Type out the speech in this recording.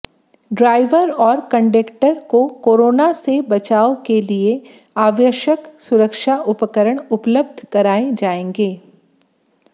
driver और conductor को corona से बचाव के लिए आवश्यक सुरक्षा उपकरण उपलब्ध करवाए जाएंगे